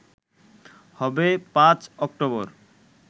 হবে ৫ অক্টোবর